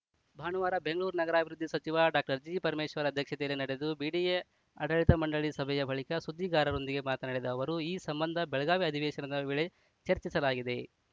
ಭಾನುವಾರ ಬೆಂಗಳೂರು ನಗರಾಭಿವೃದ್ಧಿ ಸಚಿವ ಡಾಕ್ಟರ್ ಜಿಪರಮೇಶ್ವರ್‌ ಅಧ್ಯಕ್ಷತೆಯಲ್ಲಿ ನಡೆದ ಬಿಡಿಎ ಆಡಳಿತ ಮಂಡಳಿ ಸಭೆಯ ಬಳಿಕ ಸುದ್ದಿಗಾರರೊಂದಿಗೆ ಮಾತನಾಡಿದ ಅವರು ಈ ಸಂಬಂಧ ಬೆಳಗಾವಿ ಅಧಿವೇಶನದ ವೇಳೆ ಚರ್ಚಿಸಲಾಗಿದೆ